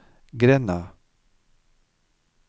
grenda